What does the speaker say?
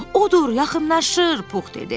Odur, yaxınlaşır, Pux dedi.